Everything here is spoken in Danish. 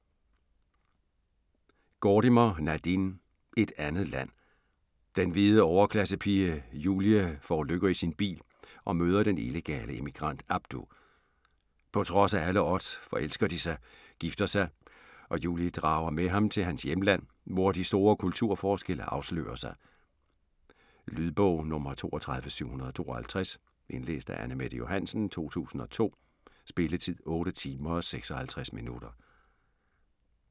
Gordimer, Nadine: Et andet land Den hvide overklassepige Julie forulykker i sin bil, og møder den illegale immigrant Abdu. På trods af alle odds forelsker de sig, gifter sig, og Julie drager med ham til hans hjemland, hvor de store kulturforskelle afslører sig. Lydbog 32752 Indlæst af Anne-Mette Johansen, 2002. Spilletid: 8 timer, 56 minutter.